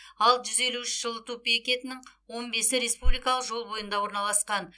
ал жүз елу үш жылыту бекетінің он бесінші республикалық жол бойында орналасқан